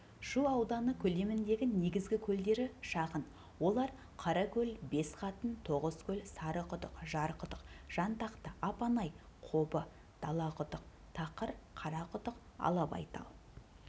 шу ауданы көлеміндегі негізгі көлдері шағын олар қаракөл-бесқатын тоғызкөл сарықұдық жарқұдық жантақты апанай қобы далақұдық тақыр қарақұдық алабайтал